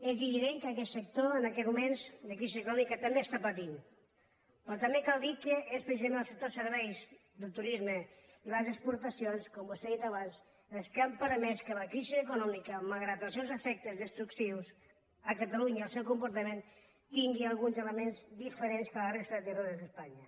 és evident que aquest sector en aquests moments de crisi econòmica també està patint pe·rò també cal dir que és precisament el sector serveis del turisme i les exportacions com vostè ha dit abans el que ha permès que la crisi econòmica malgrat els seus efectes destructius a catalunya el seu comporta·ment tingui alguns elements diferents que a la resta de territoris d’espanya